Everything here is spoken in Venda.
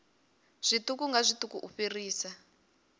zwiṱuku nga zwiṱuku u fhirisa